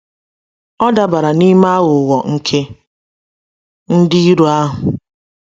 Ọ dabara n’ime aghụghọ nke ndị iro ahụ?